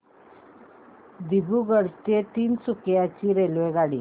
दिब्रुगढ ते तिनसुकिया ची रेल्वेगाडी